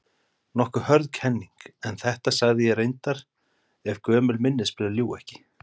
Nokkuð hörð kenning, en þetta sagði ég reyndar- ef gömul minnisblöð ljúga ekki.